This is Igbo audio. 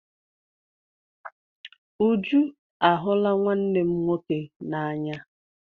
Uju a hụla nwanne m nwoke n'anya.